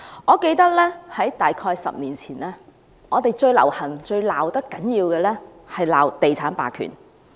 我記得大約在10年前，最流行、罵得最多的是地產霸權。